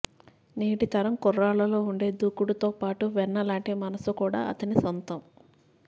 నేటి తరం కుర్రాళ్లలో ఉండే దూకుడుతోపాటు వెన్నలాంటి మనసు కూడా అతని సొంతం